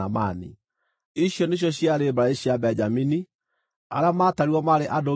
Ici nĩcio ciarĩ mbarĩ cia Benjamini; arĩa maatarirwo maarĩ andũ 45,600.